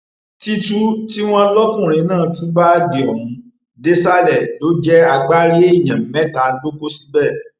títù tí wọn lọkùnrin náà tú báàgì ọhún désàlẹ ló jẹ agbárí èèyàn mẹta ló kó síbẹ